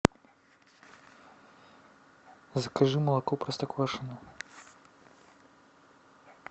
закажи молоко простоквашино